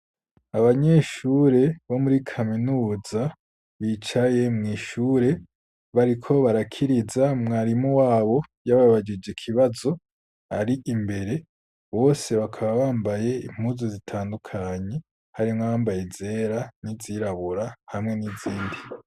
Abanyeshure bo muri kaminuza bicaye mw'ishure bariko barakiriza mwarimu wabo yababajije ikibazo ari imbere bose bakaba bambaye impuzu zitandukanye harimwo ambaye izera n'izirabura hamwe n'izindi.